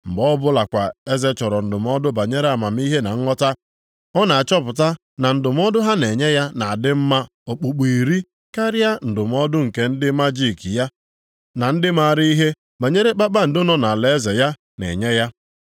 Mgbe ọ bụlakwa eze chọrọ ndụmọdụ banyere amamihe na nghọta, ọ na-achọpụta na ndụmọdụ ha na-enye ya na-adị mma okpukpu iri karịa ndụmọdụ nke ndị majiki ya na ndị maara ihe banyere kpakpando nọ nʼalaeze ya na-enye ya.